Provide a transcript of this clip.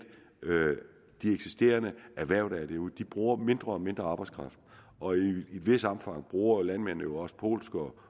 de eksisterende erhverv der er derude de bruger mindre og mindre arbejdskraft og i et vist omfang bruger landmændene jo også polsk og